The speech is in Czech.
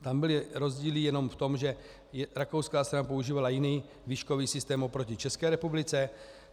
Tam byly rozdíly jenom v tom, že rakouská strana používala jiný výškový systém oproti České republice.